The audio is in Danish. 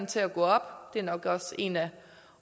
til at gå op det er nok også en af